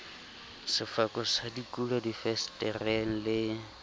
sefako sa dikulo difensetereng le